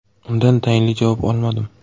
Undan tayinli javob olmadim.